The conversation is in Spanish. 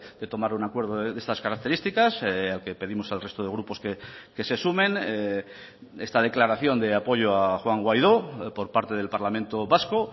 de tomar un acuerdo de estas características que pedimos al resto de grupos que se sumen esta declaración de apoyo a juan guaidó por parte del parlamento vasco